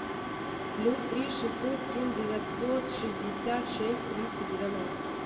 плюс три шестьсот семь девятьсот шестьдесят шесть тридцать девяносто